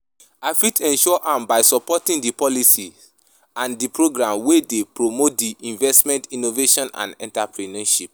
I fit ensure am by supporting di policies and di programs wey dey promote di investment, innovation and entrepreneurship.